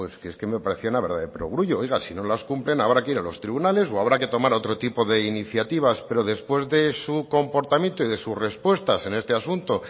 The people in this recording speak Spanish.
es que me parece una verdad de perogrullo oiga si no las cumplen habrá que ir a los tribunales o habrá que tomar otro tipo de iniciativas pero después de su comportamiento y de sus respuestas en este asunto